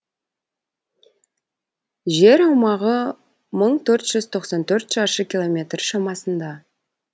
жер аумағы мың төрт жүз тоқсан төрт шаршы километр шамасында